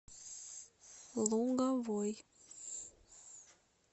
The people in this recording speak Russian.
луговой